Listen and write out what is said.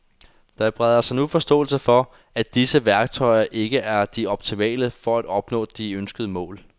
Der breder sig nu forståelse for, at disse værktøjer ikke er de optimale for at opnå de ønskede mål.